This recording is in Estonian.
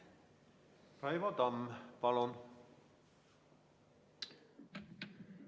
Raivo Tamm, palun!